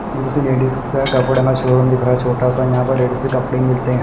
इधर सब लेडिस का कपड़ा का शोरूम दिख रहा है छोटा सा यहां पर लेडिस के कपड़े मिलते--